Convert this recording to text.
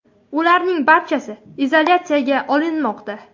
Ularning barchasi izolyatsiyaga olinmoqda .